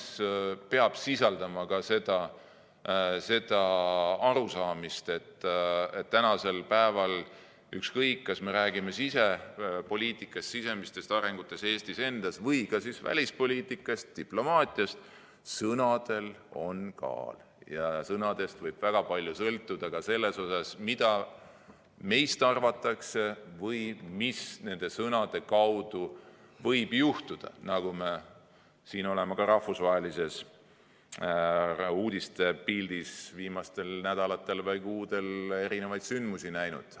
See peab sisaldama ka seda arusaamist, et ükskõik, kas me räägime sisepoliitikast, sisemistest arengutest Eestis endas või ka välispoliitikast, diplomaatiast, sõnadel on kaal ja sõnadest võib väga palju sõltuda ka selles mõttes, mida meist arvatakse või mis nende sõnade tõttu võib juhtuda, nagu me oleme rahvusvahelises uudistepildis viimastel nädalatel või kuudel näinud.